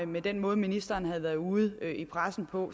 med den måde ministeren havde været ude i pressen på